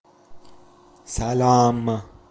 салам